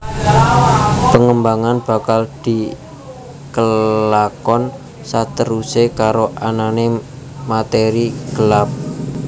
Pengembangan bakal dikelakon saterusé karo anané materi gelap